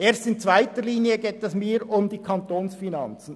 Erst in zweiter Linie geht es mir um die Kantonsfinanzen.